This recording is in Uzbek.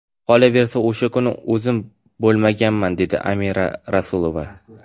Qolaversa, o‘sha kuni o‘zim bo‘lmaganman”, dedi Amira Rasulova.